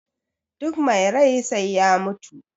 duk mai rai sai ya mutu